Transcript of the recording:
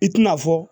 I tina fɔ